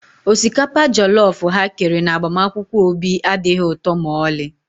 Osikapa jọllọf ha kere na agbamakwụkwọ Obi adịghị ụtọ ma ọlị